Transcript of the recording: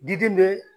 Diden bɛ